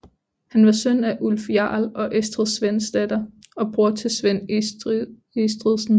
Han var søn af Ulf jarl og Estrid Svendsdatter og bror til Svend Estridsen